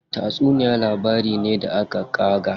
Tatsuniya labari ne da aka ƙaga.